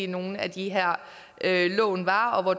nogle af de her lån var og hvor